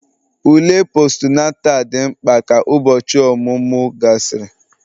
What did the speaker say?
ule Postunata dị mkpa ka ụbọchị ọmụmụ gasịrị